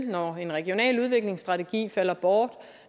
når en regional udviklingsstrategi falder bort